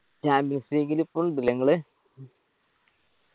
champions league ല് ഇപ്പൊ ഇണ്ട് ല്ലേ ഇങ്ങള്